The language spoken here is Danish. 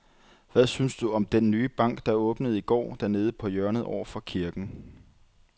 Hvad synes du om den nye bank, der åbnede i går dernede på hjørnet over for kirken?